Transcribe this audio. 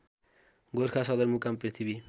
गोरखा सदरमुकाम पृथ्वी